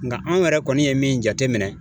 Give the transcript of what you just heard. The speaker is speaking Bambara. Nga anw yɛrɛ kɔni ye min jateminɛ